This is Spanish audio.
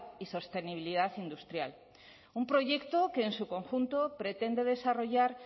y sostenibilidad industrial un proyecto que en su conjunto pretende desarrollar